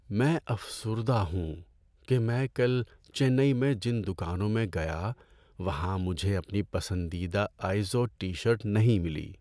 ‏میں افسردہ ہوں کہ میں کل چنئی میں جن دکانوں میں گیا وہاں مجھے اپنی پسندیدہ آئیزوڈ ٹی شرٹ نہیں ملی۔